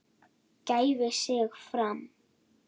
gæfi sig fram.